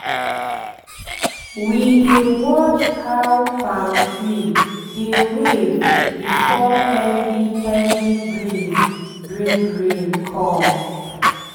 we dey watch how palm tree dey wave before heavy heavy breeze bring rain come